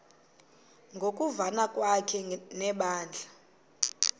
ngokuvana kwakhe nebandla